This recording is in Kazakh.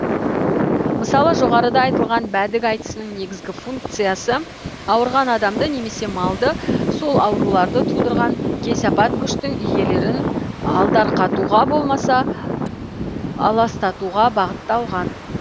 мысалы жоғарыда айтылған бәдік айтысының негізгі функциясы ауырған адамды немесе малды сол ауруларды тудырған кесапат күштің иелерін алдарқатуға болмаса аластатуға бағытталған